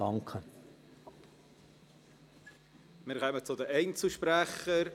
Wir kommen zu den Einzelsprechern.